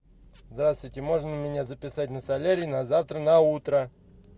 здравствуйте можно меня записать на солярий на завтра на утро